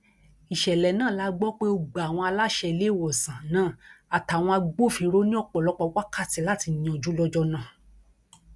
ìṣẹlẹ náà la gbọ pé ó gba àwọn aláṣẹ iléewòsàn náà àtàwọn agbófinró ní ọpọlọpọ wákàtí láti yanjú lọjọ náà